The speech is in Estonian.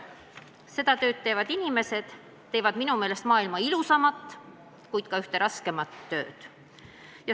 Seda tööd tegevad inimesed teevad minu meelest üht maailma ilusaimat, kuid ka üht raskeimat tööd.